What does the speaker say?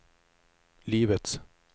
livets